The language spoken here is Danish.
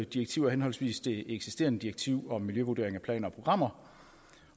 direktiver henholdsvis det eksisterende direktiv om miljøvurdering af planer og programmer